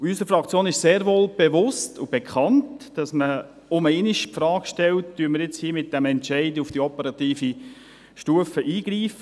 Unserer Fraktion ist sehr wohl bewusst und bekannt, dass man nur einmal die Frage stellt, ob wir mit diesem Entscheid auf der operativen Stufe eingreifen.